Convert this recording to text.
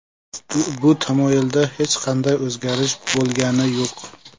Bu tamoyilda hech qanday o‘zgarish bo‘lgani yo‘q.